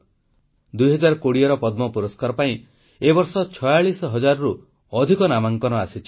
2020ର ପଦ୍ମ ପୁରସ୍କାର ପାଇଁ ଏ ବର୍ଷ ଛୟାଳିଶ ହଜାରରୁ ଅଧିକ ନାମାଙ୍କନ ଆସିଛି